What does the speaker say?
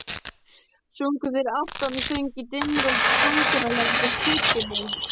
Sungu þeir aftansöng í dimmri og drungalegri kirkjunni.